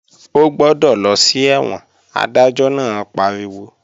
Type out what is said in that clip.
Ó gbọ́dọ̀ lọ sí ẹ̀wọ̀n! Adájọ́ náà pariwo